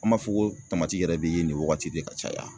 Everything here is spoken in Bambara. An b'a fɔ ko tamati yɛrɛ be yen nin wagati de ka caya